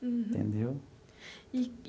Uhum. Entendeu?